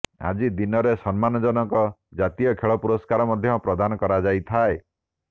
ଆଜିର ଦିନରେ ସମ୍ମାନଜନକ ଜାତୀୟ ଖେଳ ପୁରସ୍କାର ମଧ୍ୟ ପ୍ରଦାନ କରାଯାଇଥାଏ